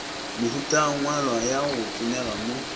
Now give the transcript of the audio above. mehutangwalwa ya go tsomega mo